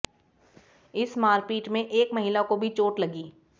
इस मारपीट में एक महिला को भी चोट लगी